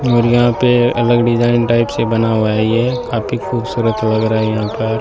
और यहां पे अलग डिजाइन टाइप से बना हुआ है ये काफी खूबसूरत लग रहा है यहां पर।